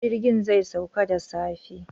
Jirgin zai sauka da safe.